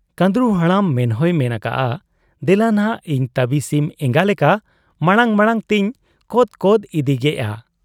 ᱠᱟᱺᱫᱽᱨᱩ ᱦᱟᱲᱟᱢ ᱢᱮᱱᱦᱚᱸᱭ ᱢᱮᱱ ᱟᱠᱟᱜ ᱟ, 'ᱫᱮᱞᱟᱱᱷᱟᱜ ᱤᱧ ᱛᱟᱵᱤ ᱥᱤᱢ ᱮᱸᱜᱟ ᱞᱮᱠᱟ ᱢᱟᱬᱟᱝ ᱢᱟᱬᱟᱝ ᱛᱮᱧ ᱠᱚᱫ ᱠᱚᱫ ᱤᱫᱤᱜᱮᱜ ᱟ ᱾